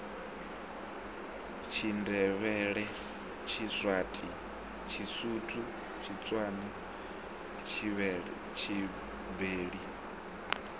tshindevhele tshiswati tshisuthu tshitswana tshibeli